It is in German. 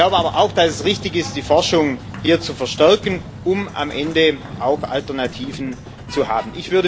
Ich glaube aber auch, dass es richtig ist, die Forschung hier zu verstärken, um am Ende auch Alternativen zu haben.